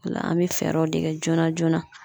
O la an bɛ fɛɛrɛw de kɛ joona joona